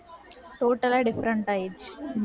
total ஆ different ஆயிடுச்சு.